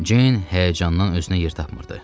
Jeyn həyəcandan özünə yer tapmırdı.